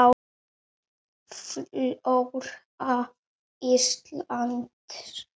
Flóra Íslands